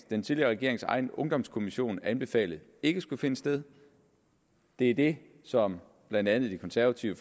den tidligere regerings egen kommission ungdomskommissionen anbefalede ikke skulle finde sted det er det som blandt andet det konservative